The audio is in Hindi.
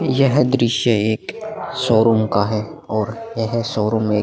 यह दृश्य एक शोरूम का है और यह शोरूम एक --